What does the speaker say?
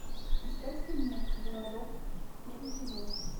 искать фильмец городок первый сезон